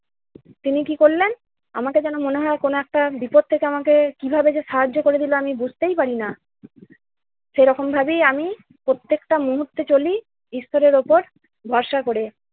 তিনি কি করলেন আমাকে যেন মনে হয় কোন একটা বিপদ থেকে আমাকে কিভাবে যে সাহায্য করে দিল আমি বুঝতেই পারি না! সেইরকমভাবেই আমি প্রত্যেকটা মুহূর্তে চলি ঈশ্বরের উপর ভরসা করে।